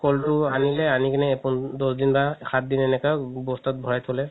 ক'লতো আনিলে আনি কিনে দহ দিন বা পো~ দহ দিন বা সাত দিন এনেকা বস্তাত ভৰাই থলে